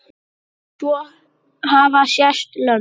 Svo hafa sést lömb.